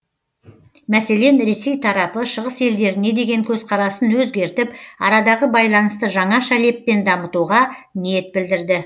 мәселен ресей тарапы шығыс елдеріне деген көзқарасын өзгертіп арадағы байланысты жаңаша леппен дамытуға ниет білдірді